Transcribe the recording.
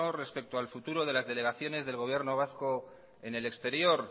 respeto al futuro de las delegaciones del gobierno vasco en el exterior